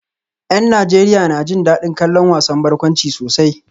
Yan Najeriya na jin dadin kallon wasan barkwanci sosai